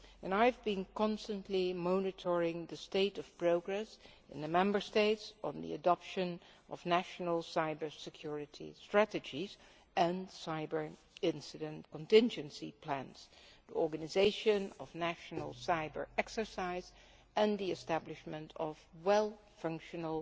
I have been constantly monitoring the state of progress in the Member States on the adoption of national cyber security strategies and cyber incident contingency plans, the organisation of national cyber exercises and the establishment of well functioning